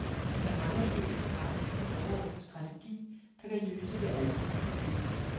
Men der mangler helt generelt en overordnet strategi, der kan løse det almene problem.